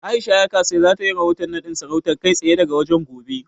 A'isha Yakasai za ta yi rahoton naɗin sarautar, kai tsaye daga wajen, gobe.